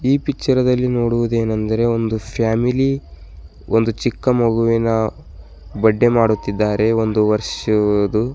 ಈ ಪಿಚ್ಚರ್ ದಲ್ಲಿ ನೋಡುವುದೇನೆಂದರೆ ಒಂದು ಫ್ಯಾಮಿಲಿ ಒಂದು ಚಿಕ್ಕ ಮಗುವಿನ ಬರ್ಡೆ ಮಾಡುತ್ತಿದ್ದಾರೆ ಒಂದು ವರ್ಷದ್ದು.